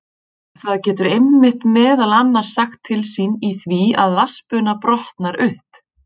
Það getur einmitt meðal annars sagt til sín í því að vatnsbuna brotnar upp.